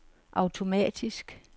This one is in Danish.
automatisk